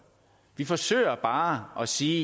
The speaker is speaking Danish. vi forsøger bare at sige